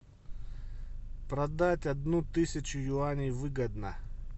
продать одну тысячу юаней выгодно